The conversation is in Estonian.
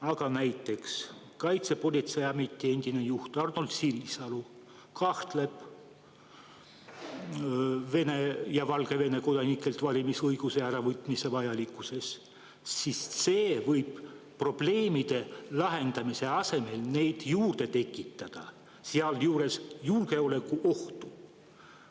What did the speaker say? Aga näiteks Kaitsepolitseiameti endine juht Arnold Sinisalu kahtleb Vene ja Valgevene kodanikelt valimisõiguse äravõtmise vajalikkuses, sest see võib probleemide lahendamise asemel neid juurde tekitada, sealjuures julgeolekuohtu.